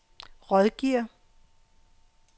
rådgiver